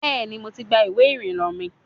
Bẹ́ẹ̀ni, mo ti gba ìwé ìrìnnà mi.